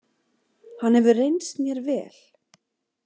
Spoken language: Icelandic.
Hann hefur reynst mér vel.